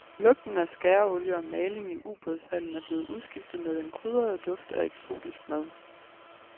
Lugten af skæreolie og maling i ubådshallen er blevet udskiftet med den krydrede duft af eksotisk mad.